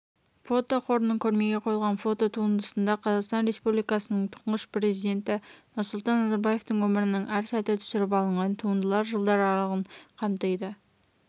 фотоқорының көрмеге қойылған фототуындысында қазақстан республикасының тұңғыш президенті нұрсұлтан назарбаевтың өмірінің әр сәті түсіріп алынған туындылар жылдар аралығын қамтиды